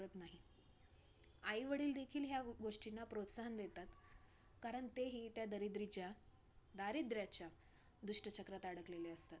आई-वडील देखील या गोष्टींना प्रोत्साहन देतात, कारण तेही त्या दरिद्रीच्या दारिद्र्यच्या दुष्टचक्रात अडकलेले असतात.